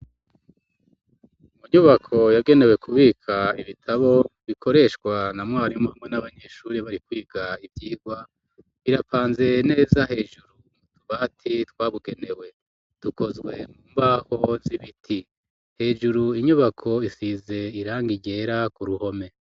Mu nyubako yagenewe kubika ibitabo bikoreshwa na mwarimu hamwe n'abanyeshuri bari kwiga ivyigwa, birapanze neza hejuru mu tubati twabugenewe ,tukozwe mumbaho z'ibiti, hejuru inyubako isize irangi ryera ku ruhome.